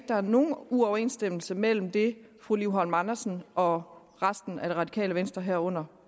der er nogen uoverensstemmelse mellem det fru liv holm andersen og resten af det radikale venstre herunder